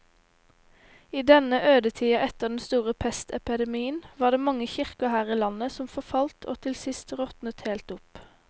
I denne ødetida etter den store pestepidemien var det mange kirker her i landet som forfalt og til sist råtnet helt opp.